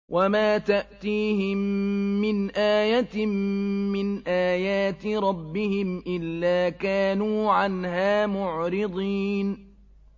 وَمَا تَأْتِيهِم مِّنْ آيَةٍ مِّنْ آيَاتِ رَبِّهِمْ إِلَّا كَانُوا عَنْهَا مُعْرِضِينَ